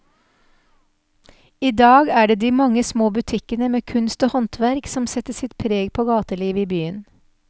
I dag er det de mange små butikkene med kunst og håndverk som setter sitt preg på gatelivet i byen.